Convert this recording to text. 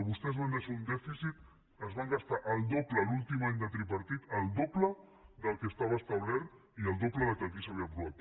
vostès van deixar un dèficit es van gastar el doble l’últim any de tripartit el doble del que estava establert i el doble del que aquí s’havia aprovat